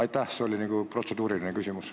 See oli nagu protseduuriline märkus.